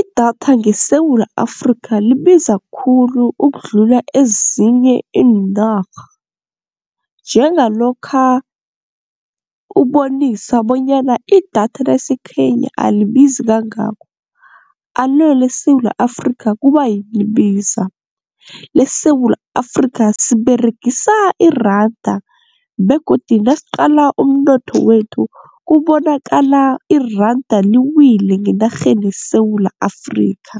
Idatha ngeSewula Afrikha libiza khulu ukudlula ezinye iinarha, njengalokha ubonisa bonyana idatha laseKenya alibizi kangako. Alo leSewula Afrikha kubayini libiza? LeSewula Afrikha siberegisa iranda begodu nasiqala umnotho wethu kubonakala iranda liwile ngenarheni yeSewula Afrikha